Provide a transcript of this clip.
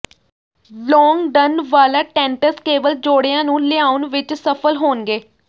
ਲੌਂਗ ਡਨ ਵਾਲਾ ਟੈਨਟਸ ਕੇਵਲ ਜੌੜਿਆਂ ਨੂੰ ਲਿਆਉਣ ਵਿਚ ਸਫ਼ਲ ਹੋਣਗੇ